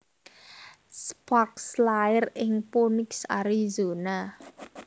Sparks lair ing Phoenix Arizona